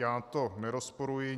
Já to nerozporuji.